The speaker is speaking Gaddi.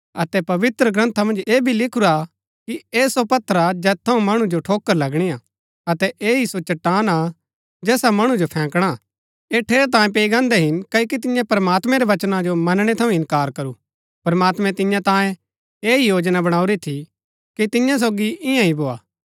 अतै पवित्रग्रन्था मन्ज ऐह भी लिखुरा कि ऐह सो पत्थर हा जैत थऊँ मणु जो ठोकर लगणी हा अतै ऐह ही सो चट्टान हा जैसा मणु जो फैंकणा हा ऐह ठेरैतांये पैई गान्दै हिन क्ओकि तिन्यै प्रमात्मैं रै वचना जो मनणै थऊँ इन्कार करू प्रमात्मैं तिन्या तांये ऐह ही योजना बणाऊरी थी कि तिन्या सोगी इन्या ही भोआ